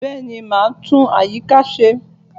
Bẹ́ẹ̀ni, mo máa tún àyíká ṣe